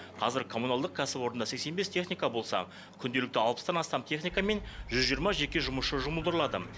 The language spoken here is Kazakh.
қазір коммуналдық кәсіпорында сексен бес техника болса күнделікті алпыстан астам техника мен жүз жиырма жеке жұмысшы жұмылдырылады